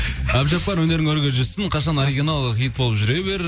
әбдіжаппар өнерің өрге жүзсін қашан оригинал хит болып жүре бер